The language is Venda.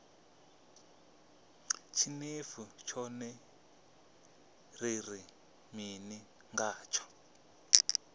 tshinefu tshone ri ri mini ngatsho